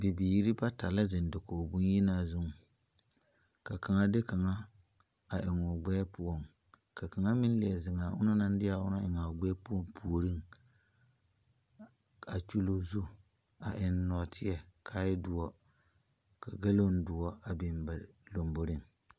Bibiire bata la zeŋ dakoge bon yenaa zu. Ka kanga de kanga a eŋ o gbɛɛ poʊŋ. Ka kanga meŋ liɛ zeŋ a o na naŋ de a o na eŋ a o gbɛɛ poʊ pooreŋ. A kyule o zu a eŋ norteɛ ka a e duo. Ka galoŋ duo a biŋ ba lombɔreŋ